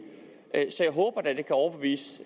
så jeg håber da at det kan overbevise